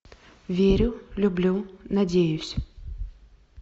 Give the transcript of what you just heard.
верю люблю надеюсь